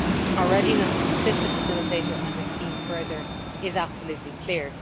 Our readiness to assist the facilitator and his team further is absolutely clear.